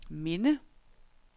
minde